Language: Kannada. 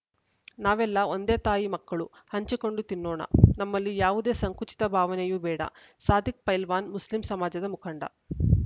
ನಾವೆಲ್ಲಾ ಒಂದೇ ತಾಯಿ ಮಕ್ಕಳು ಹಂಚಿಕೊಂಡು ತಿನ್ನೋಣ ನಮ್ಮಲ್ಲಿ ಯಾವುದೇ ಸಂಕುಚಿತ ಭಾವನೆಯೂ ಬೇಡ ಸಾದಿಕ್‌ ಪೈಲ್ವಾನ್‌ ಮುಸ್ಲಿಂ ಸಮಾಜದ ಮುಖಂಡ